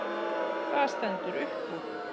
Það stendur upp úr.